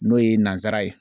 N'o ye nansara ye.